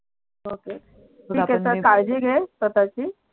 okay ठीक आहे मग आपण चल काळजी घे स्वताची